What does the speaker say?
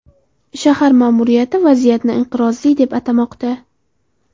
Shahar ma’muriyati vaziyatni inqirozli deb atamoqda.